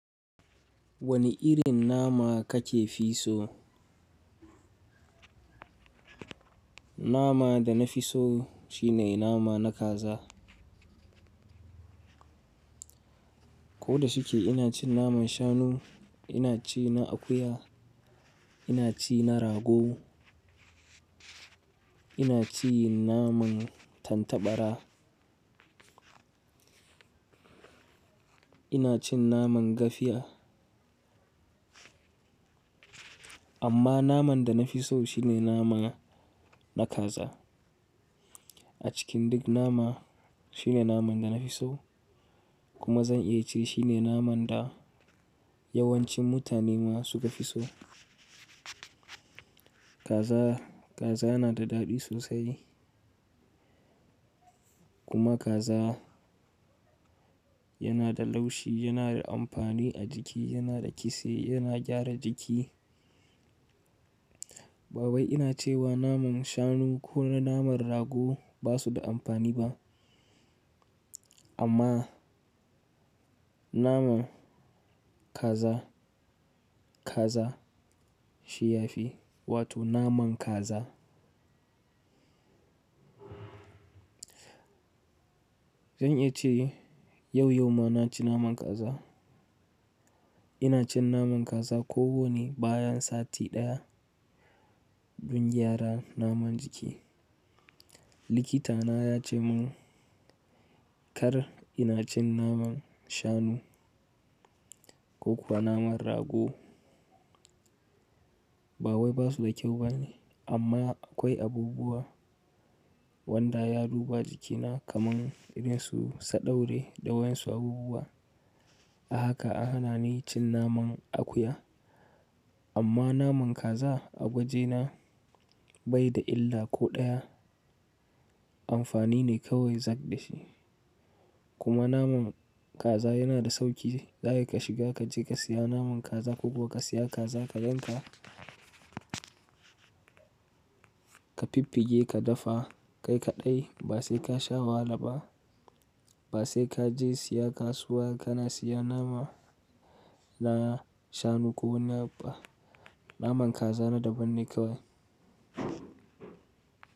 Wane irin nama kake fi so? Nama da na fi so shine nama na kaza. Ko da shike ina cin naman shanu, ina ci na akuya, ina ci na rago, ina cin naman tattabara, ina cin naman gafiya. Amma naman da na fi so shine nama na kaza. A cikin duk nama shine naman da na fi so kuma zan iya ce shine naman da yawancin mutane ma suka fi so. Kaza, kaza yana da daɗi sosai. Kuma kaza yana da laushi, yana da amfani a jiki, yana da kitse, yana gyara jiki. Bawai ina cewa naman shanu ko na naman rago ba su da amfani ba. Amma naman kaza, kaza shi ya fi, wato naman kaza. Zan iya ce yau yau ma na ci naman kaza. Ina cin naman kaza ko wane bayan sati ɗaya don gyara naman jiki. Likita na ya ce mun kar ina cin naman shanu ko kuma naman rago. Bawai ba su da kyau bane amma akwai abubuwa wanda ya duba jikina kaman irin su sadaure da wayan su abubuwa. A haka a hana ni cin naman akuya. Amma naman kaza a gwaje na bai da illa ko ɗaya. Amfani ne kawai zak shi. Kuma naman kaza yana da sauki. Za ka shiga ka je ka siya naman kaza ko kuwa ka siya kaza ka yanka, ka fiffige ka dafa kai kaɗai ba sai ka sha wahala ba. Ba sai ka je siya kasuwa ka na siya nama na shanu ko na ba. Naman kaza na daban ne kawai.